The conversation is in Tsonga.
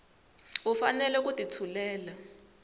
va fanele ku ti tshulela